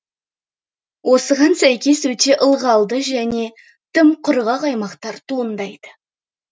осыған сәкес өте ылғалды және тым құрғақ аймақтар туындайды